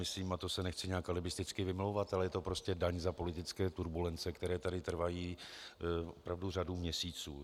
Myslím, a to se nechci nějak alibisticky vymlouvat, ale je to prostě daň za politické turbulence, které tady trvají opravdu řadu měsíců.